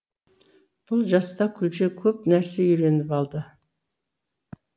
бұл жаста күлше көп нәрсе үйреніп алды